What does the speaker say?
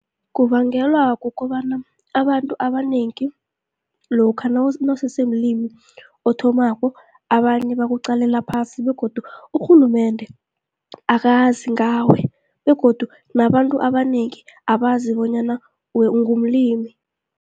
Kubangelwa kukobana abantu abanengi lokha nawusese mlimi othomako, abanye bakuqalela phasi begodu urhulumende akazi ngawe. Begodu nabantu abanengi abazi bonyana ungumlimi.